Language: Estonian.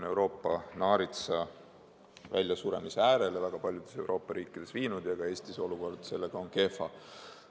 Euroopa naarits on väljasuremise äärel väga paljudes Euroopa riikides ja ka Eestis on olukord sellega kehva.